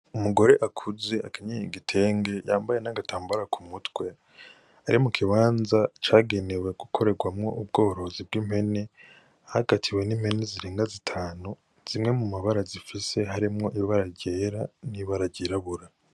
Umugore akuze akenyeye igitenge, yambaye n'agatambara ku mutwe. Ari mu kibanza cagenewe gukorerwamwo ubworozi bw'impene. Ahagatiwe n'impene zirenga zitanu. Zimwe mu mabara zifise harimwo ibara ryera, n'ibara ryirabura.